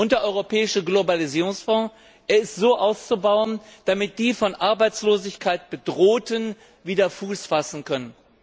Der Europäische Globalisierungsfonds ist so auszubauen, dass die von Arbeitslosigkeit Bedrohten wieder Fuß fassen können.